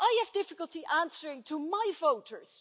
Well I have difficulty answering my voters.